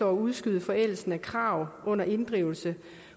udskyde forældelsen af krav under inddrivelse